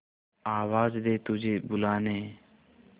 आवाज दे तुझे बुलाने